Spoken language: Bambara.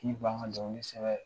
K'i ban ka dɔnkili sɛbɛn